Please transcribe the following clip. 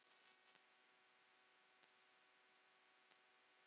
Dúna var besta vinkona mömmu.